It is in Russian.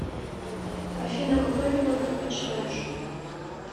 афина какое вино предпочитаешь